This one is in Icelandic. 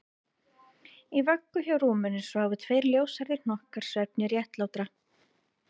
Í vöggum hjá rúminu sváfu tveir ljóshærðir hnokkar svefni réttlátra